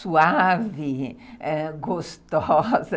suave, gostosa.